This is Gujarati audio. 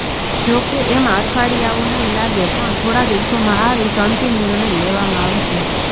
જોકે એમાં અઠવાડિયાઓ નહીં લાગે પણ થોડા દિવસોમાં આ વિશે અંતિમ નિર્ણય લેવામાં આવશે